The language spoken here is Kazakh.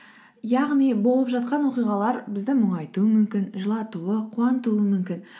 яғни болып жатқан оқиғалар бізді мұңайтуы мүмкін жылатуы қуантуы мүмкін